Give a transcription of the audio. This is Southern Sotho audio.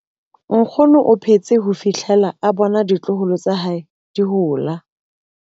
Nkgono o phetse ho fihlela a bona ditloholo tsa hae di hola.